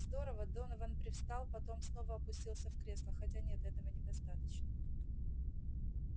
здорово донован привстал потом снова опустился в кресло хотя нет этого недостаточно